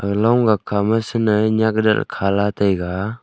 long gag kha ma sanai ley nek khat ley kha la taiga.